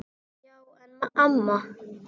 Já en amma.